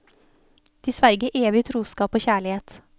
De sverger evig trosskap og kjærlighet.